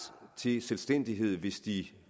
til selvstændighed hvis de